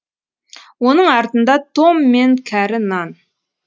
оның артында том мен кәрі нан